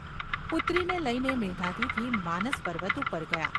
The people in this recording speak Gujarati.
પુત્રીને લઈને મેધાતિથિ માનસપર્વત ઉપર ગયા.